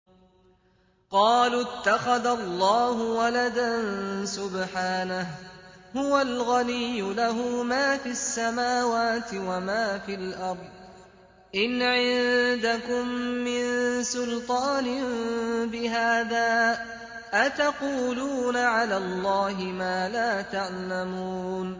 قَالُوا اتَّخَذَ اللَّهُ وَلَدًا ۗ سُبْحَانَهُ ۖ هُوَ الْغَنِيُّ ۖ لَهُ مَا فِي السَّمَاوَاتِ وَمَا فِي الْأَرْضِ ۚ إِنْ عِندَكُم مِّن سُلْطَانٍ بِهَٰذَا ۚ أَتَقُولُونَ عَلَى اللَّهِ مَا لَا تَعْلَمُونَ